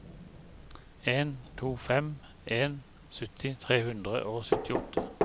en to fem en sytti tre hundre og syttiåtte